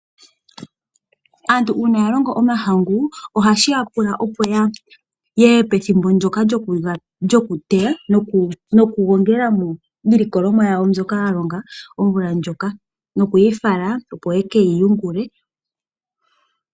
Aantu uuna yalongo omahangu ohashiya pula opo yeye pethimbo ndoka lyokuteya nokugongelemo iilikolomwa yawo mbyoka yalonga omvula ndjoka, nokuyifala opo ye keyi yungile.